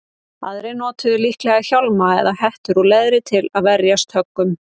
Aðrir notuðu líklega hjálma eða hettur úr leðri til að verjast höggum.